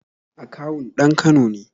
Akawun ɗan Kano ne